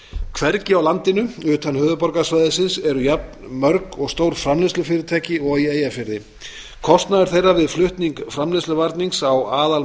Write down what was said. hvergi á landinu utan höfuðborgarsvæðisins eru jafn mörg og stór framleiðslufyrirtæki og í eyjafirði kostnaður þeirra við flutning framleiðsluvarnings á